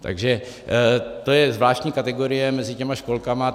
Takže to je zvláštní kategorie mezi těmi školkami.